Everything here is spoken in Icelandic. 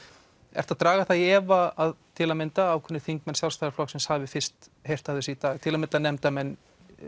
ertu að draga það í efa að til að mynda ákveðnir þingmenn Sjálfstæðisflokksins hafi fyrst heyrt af þessu í dag til að mynda nefndarmenn